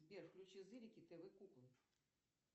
сбер включи зырики тв куклы